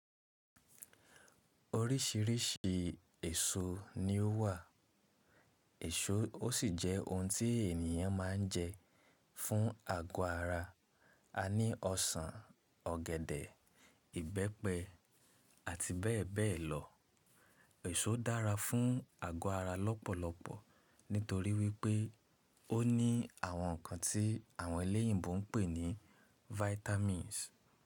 Orísìírísìí èso ni ó wà, èso ó sì jẹ́ ohun tí ènìyàn má ń jẹ fún àgọ́ ara. A ní ọsàn, ọ̀gẹ̀dẹ̀, ìbẹ́pẹ àti bẹ́ẹ̀ bẹ́ẹ̀ lọ. Èso dára fún àgọ́ ara lọ́pọ̀lọpọ̀ nítorí wípé ó ní àwọn ǹkan tí àwọn eléyìnbó ń pè ní vitamins.